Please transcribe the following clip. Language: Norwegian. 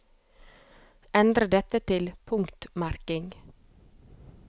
Endre dette til punktmerking